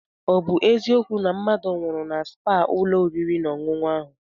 Ọ bụ eziokwu na mmadụ nwụrụ na spaa ụlọ oriri na ọṅụṅụ ahụ?